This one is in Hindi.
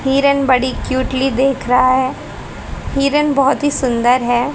हिरण बड़ी क्यूटली देख रहा है हिरन बहुत ही सुंदर है।